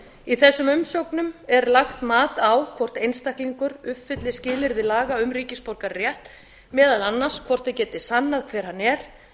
í þessum umsögnum er lagt mat á hvort einstaklingur uppfylli skilyrði laga um ríkisborgararétt meðal annars hvort hann geti sannað hver hann er